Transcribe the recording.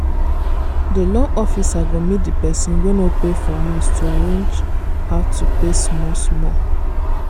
the loan officer go meet the person wey no pay for house to arrange how to pay small-small.